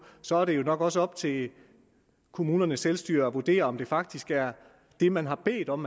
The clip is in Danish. så er det jo nok også op til kommunernes selvstyre at vurdere om det faktisk er det man har bedt om